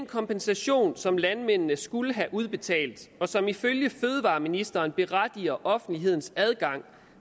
kompensation som landmændene skulle have udbetalt og som ifølge fødevareministeren berettiger offentlighedens adgang